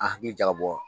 A hakili jagabɔ